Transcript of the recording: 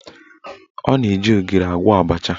Ọ na-eji ogiri agwọ abacha